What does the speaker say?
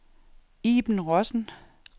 Iben Rossen